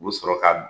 U bɛ sɔrɔ ka